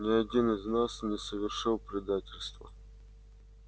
ни один из нас не совершил предательства